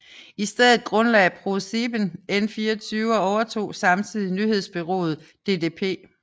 I stedet grundlagde ProSieben N24 og overtog samtidig nyhedsbureauet ddp